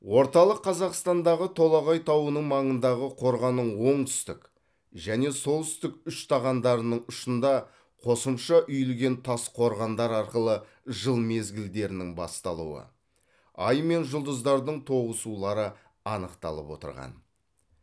орталық қазақстандағы толағай тауының маңындағы қорғанның оңтүстік және солтүстік үштағандарының ұшында қосымша үйілген тас қорғандар арқылы жыл мезгілдерінің басталуы ай мен жұлдыздардың тоғысулары анықталып отырған